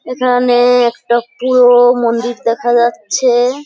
এখানে একটা পুরোনো মন্দির দেখা যাচ্ছে ।